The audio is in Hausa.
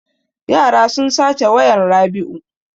Yara sun sace wayan Rabiu.